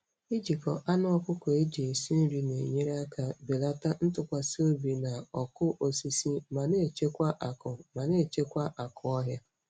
Ijikọ anụ ọkụkọ eji esi nri na-enyere aka belata ntụkwasị obi na ọkụ osisi ma na-echekwa akụ ma na-echekwa akụ ọhịa.